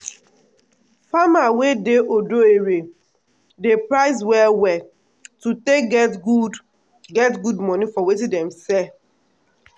farmer wey dey odo ere dey price well well to take get good get good money for watin dem sell.